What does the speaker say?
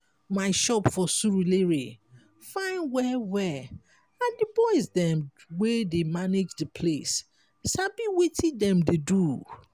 my shop for surulere fine well-well and di boys dem wey dey manage de place sabi wetin dem dey do.